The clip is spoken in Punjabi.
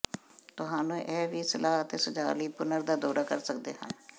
ਤੁਹਾਨੂੰ ਇਹ ਵੀ ਸਲਾਹ ਅਤੇ ਸੁਝਾਅ ਲਈ ਪੁਨਰ ਦਾ ਦੌਰਾ ਕਰ ਸਕਦੇ ਹਨ